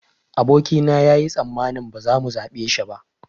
Aboki na yayi tsammanin ba za mu zaɓe shi ba